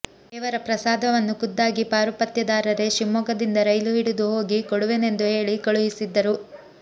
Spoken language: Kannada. ದೇವರ ಪ್ರಸಾದವನ್ನು ಖುದ್ದಾಗಿ ಪಾರುಪತ್ಯೆದಾರರೆ ಶಿವಮೊಗ್ಗದಿಂದ ರೈಲು ಹಿಡಿದು ಹೋಗಿ ಕೊಡುವೆನೆಂದು ಹೇಳಿ ಕಳುಹಿಸಿದ್ದರು